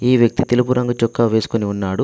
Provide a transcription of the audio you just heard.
ఈ వ్యక్తి తెలుపు రంగు చొక్కా వేసుకొని ఉన్నాడు.